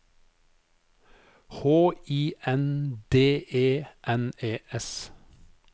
H I N D E N E S